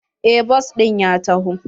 Eh bas ɗin ya taho.